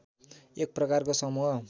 एक प्रकारको समूह